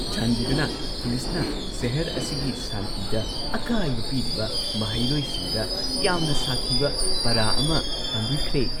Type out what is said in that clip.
ꯆꯥꯟꯕꯤꯗꯨꯅ ꯄꯨꯂꯤꯁꯅ ꯁꯦꯍꯔ ꯑꯁꯤꯒꯤ ꯁꯥꯟꯇꯤꯗ ꯑꯀꯥꯏꯕ ꯄꯤꯔꯤꯕ ꯃꯍꯩꯔꯣꯏꯁꯤꯡꯗ ꯌꯥꯝꯅ ꯁꯥꯊꯤꯕ ꯄꯥꯔꯥ ꯑꯃ ꯇꯝꯕꯤꯈ꯭ꯔꯦ꯫